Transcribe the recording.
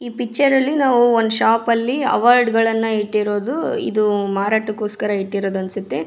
ಈ ಪಿಕ್ಚರ್ ಅಲ್ಲಿ ನಾವು ಒಂದ್ ಶಾಪ್ ಅಲ್ಲಿ ಅವಾರ್ಡ್ಗಳನ್ನು ಇಟ್ಟಿರೋದು ಇದು ಮಾರಾಟಕ್ಕಾಗಿ ಇಟ್ಟಿರೋದು ಅನ್ಸುತ್ತೆ.